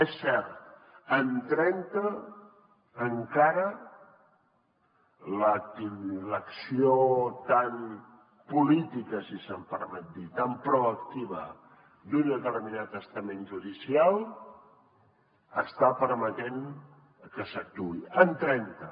és cert en trenta encara l’acció tan política si se’m permet dir ho tan proactiva d’un determinat estament judicial està permetent que s’actuï en trenta